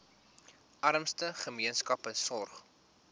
armste gemeenskappe sorg